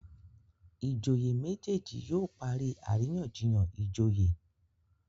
ìjòyè méjèjì yóò parí àríyànjiyàn ìjòyè